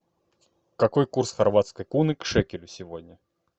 какой курс хорватской куны к шекелю сегодня